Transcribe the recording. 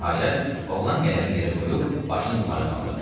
Nəhayət, oğlan qələmi yerə qoyub başını yuxarı qaldırdı.